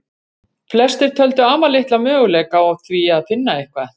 Flestir töldu afar litla möguleika á því finna eitthvað.